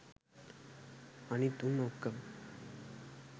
අනිත් උන් ඔක්කොම